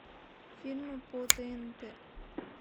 фильмы по тнт